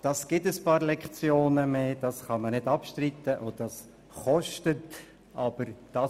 Es gibt ein paar Lektionen mehr, das kann man nicht abstreiten, und das kostet etwas.